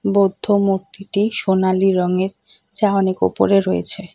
বৌদ্ধ মূর্তিটি সোনালী রঙের যা অনেক ওপরে রয়েছে।